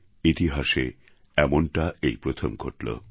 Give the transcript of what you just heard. ইতিহাসে এমনটা এই প্রথম ঘটল